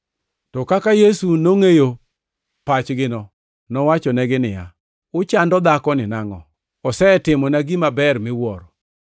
To kaka Yesu nongʼeyo pachgino, nowachonegi niya, “Uchando dhakoni nangʼo? Osetimona gima ber miwuoro.